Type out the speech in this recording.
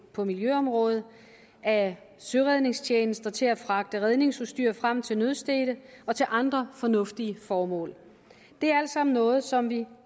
på miljøområdet af søredningstjenester til at fragte redningsudstyr frem til nødstedte og til andre fornuftige formål det er alt sammen noget som vi